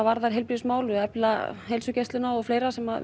varðar heilbrigðismál efla heilsugæsluna og fleira sem